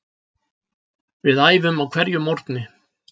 Við æfðum á hverjum morgni.